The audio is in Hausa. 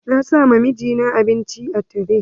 Na sa ma mijina abinci a tire.